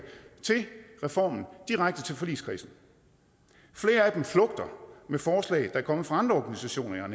til reformen direkte til forligskredsen flere af dem flugter med forslag der er kommet fra andre organisationer jeg